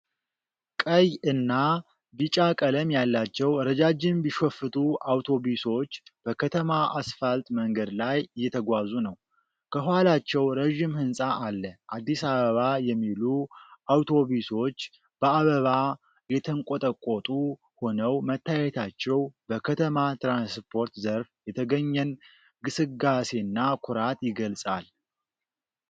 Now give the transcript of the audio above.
ቀይ እና ቢጫ ቀለም ያላቸው ረጃጅም ቢሾፍቱ አውቶቡሶች በከተማ አስፋልት መንገድ ላይ እየተጓዙ ነው። ከኋላቸው ረዥም ሕንፃ አለ። አዲስ አበባ የሚሉ አውቶቡሶች በአበባ የተንቆጠቆጡ ሆነው መታየታቸው በከተማ ትራንስፖርት ዘርፍ የተገኘን ግስጋሴና ኩራት ይገልጻል።